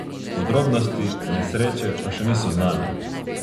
Podrobnosti nesreče pa še niso znane.